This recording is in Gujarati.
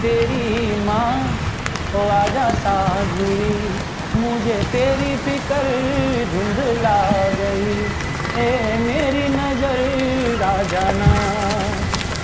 તેરી માં હો આજ સાંજ હુંયી મુજે તેરી ફિકર હુંયી ધુન્ધલા ગયી હો મેરી નજર આજના